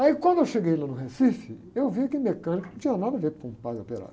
Aí quando eu cheguei lá no Recife, eu vi que mecânico não tinha nada a ver com padre operário.